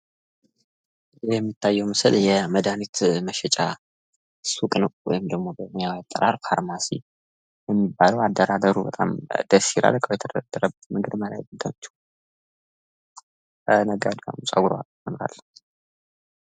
ይህ የሚታየ ምስል መድሃኒት መሸጫ ሱቅ ነው። ወይም ደግሞ በኛ አጠራር ፋርማሲ የሚባለው አደራድሩ በጣም ደሥ ይላል። ነጋዴዋም ጽጉሯ ያምራል።